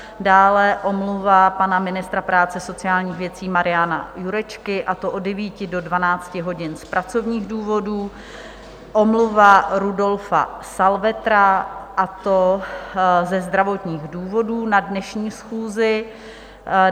Dále omluva pana ministra práce a sociálních věcí Mariana Jurečky, a to od 9 do 12 hodin z pracovních důvodů, omluva Rudolfa Salvetra, a to ze zdravotních důvodů, na dnešní schůzi.